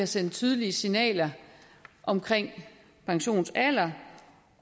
sendt tydelige signaler om pensionsalderen